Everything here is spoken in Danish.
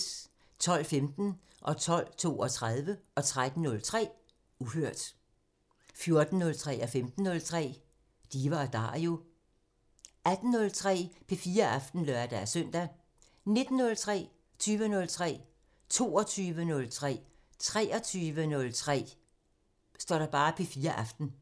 12:15: Uhørt 12:32: Uhørt 13:03: Uhørt 14:03: Diva & Dario 15:03: Diva & Dario 18:03: P4 Aften (lør-søn) 19:03: P4 Aften 20:03: P4 Aften 22:03: P4 Aften 23:03: P4 Aften